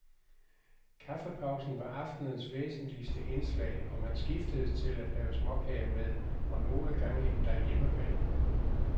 Kaffepausen var aftenens væsentligste indslag, og man skiftedes til at have småkager med, og nogle gange endda hjemmebag.